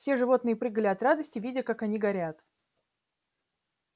все животные прыгали от радости видя как они горят